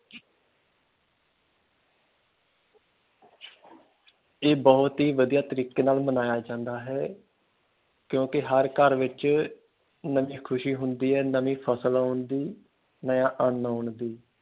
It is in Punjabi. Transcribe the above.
ਏਹ ਬਹੁਤ ਹੀ ਵਧੀਆ ਤਰੀਕੇ ਨਾਲ ਮਨਾਇਆ ਜਾਂਦਾ ਹੈ ਕਿਉਕਿ ਹਰ ਘਰ ਵਿੱਚ ਨਵੀਂ ਖੁਸ਼ੀ ਹੁੰਦੀ ਹੈ ਨਵੀਂ ਫਸਲ ਆਉਣ ਦੀ ਨਯਾ ਅੰਨ ਆਉਣ ਦੀ।